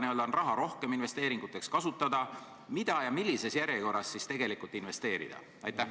– võiks raha rohkem investeeringuteks kasutada ning mida ja millises järjekorras investeerida?